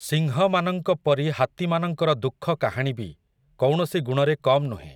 ସିଂହମାନଙ୍କ ପରି ହାତୀମାନଙ୍କର ଦୁଃଖ କାହାଣୀ ବି, କୌଣସି ଗୁଣରେ କମ୍ ନୁହେଁ ।